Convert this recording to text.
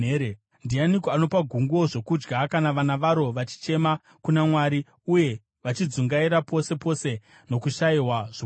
Ndianiko anopa gunguo zvokudya kana vana varo vachichema kuna Mwari, uye vachidzungaira pose pose nokushayiwa zvokudya?